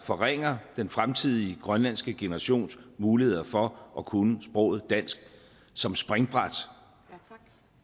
forringer den fremtidige grønlandske generations muligheder for at kunne sproget dansk som springbræt